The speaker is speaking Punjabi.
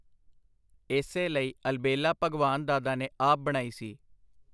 ਏਸੇ ਲਈ ਅਲਬੇਲਾ ਭਗਵਾਨ ਦਾਦਾ ਨੇ ਆਪ ਬਣਾਈ ਸੀ.